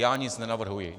Já nic nenavrhuji.